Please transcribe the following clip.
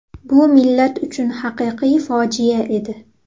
Bu millat uchun haqiqiy fojia edi.